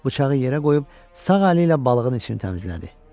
Bıçağı yerə qoyub sağ əli ilə balığın içini təmizlədi.